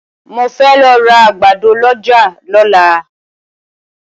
Mo fẹ́ lọ ra àgbàdo lọ́jà lọ́la.